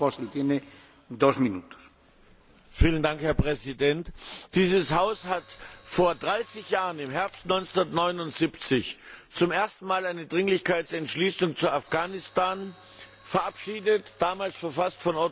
Herr Präsident, dieses Haus hat vor 30 Jahren im Herbst 1979 zum ersten Mal eine Dringlichkeitsentschließung zu Afghanistan verabschiedet, verfasst von Otto von Habsburg, dessen Mitarbeiter ich damals war.